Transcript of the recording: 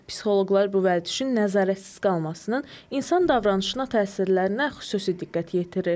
Psixoloqlar bu vərdişin nəzarətsiz qalmasının insan davranışına təsirlərinə xüsusi diqqət yetirir.